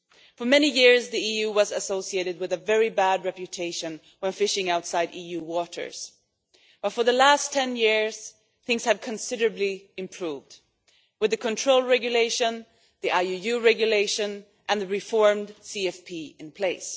For many years the EU had a very bad reputation when fishing outside EU waters, but for the last ten years things have considerably improved with the control regulation, the IUU regulation and the reformed CFP in place.